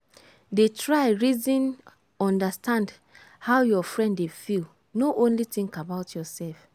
dey try reason understand how your friend dey feel no only think about yourself.